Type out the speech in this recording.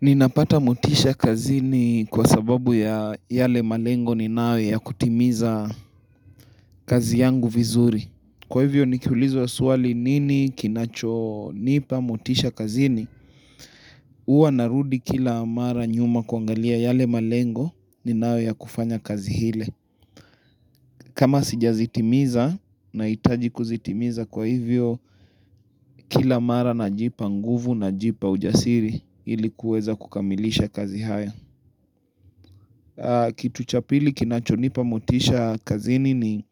Ninapata mutisha kazini kwa sababu ya yale malengo ninayo ya kutimiza kazi yangu vizuri Kwa hivyo nikiulizwa ya swali nini kinachonipa mutisha kazini huwa narudi kila mara nyuma kuangalia yale malengo ninayo ya kufanya kazi ile kama sijazitimiza na hitaji kuzitimiza kwa hivyo kila mara najipa nguvu najipa ujasiri ilikuweza kukamilisha kazi haya kitu cha pili kinachonipa mutisha kazini ni